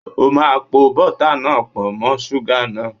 O máa po bọ́tà náà pọ̀ mọ́ súgà náà!